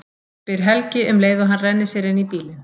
spyr Helgi um leið og hann rennir sér inn í bílinn.